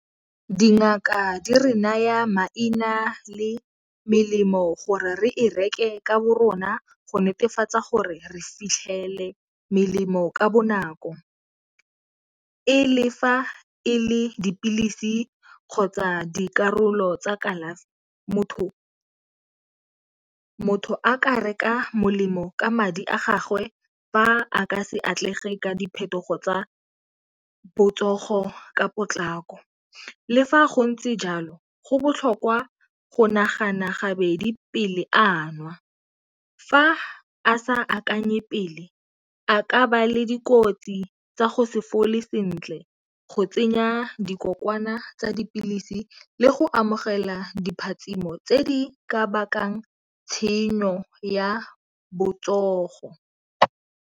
Dingaka di re naya maina le melemo gore re e reke ka bo rona go netefatsa gore re fitlhele melemo ka bonako, e lefa e le dipilisi kgotsa dikarolo tsa kalafi motho a ka reka molemo ka madi a gagwe fa a ka se atlege ka diphetogo tsa botsogo ka potlako. Le fa go ntse jalo go botlhokwa go nagana gabedi pele a nwa, fa a sa akanye pele a ka ba le dikotsi tsa go se fole sentle go tsenya dikokwana tsa dipilisi le go amogela diphatshimo tse di ka bakang tshenyo ya botsogo.